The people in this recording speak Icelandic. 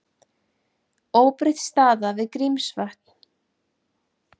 Óbreytt staða við Grímsvötn